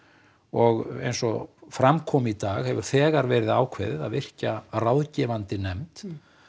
og eins og fram kom í dag hefur þegar verið ákveðið að virkja ráðgefandi nefnd